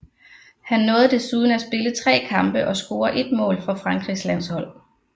Han nåede desuden at spille tre kampe og score ét mål for Frankrigs landshold